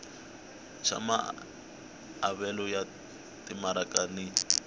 xa maavelo ya timaraka ni